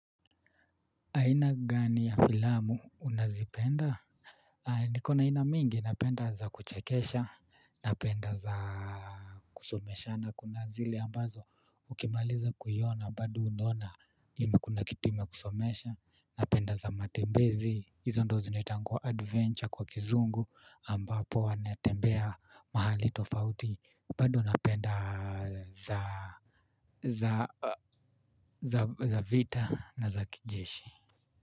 Aina gani ya filamu unazipenda. Niko na aina mingi napenda za kuchekesha napenda za kusomeshana kuna zile ambazo ukimaliza kuiona bado unaona kuna kitu imekusomesha napenda za matembezi hizo ndio zinaitangwa adventure kwa kizungu ambapo wanatembea mahali tofauti bado napenda za za za za vita na za kijeshi.